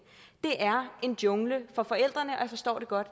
det er en jungle for forældrene og jeg forstår det godt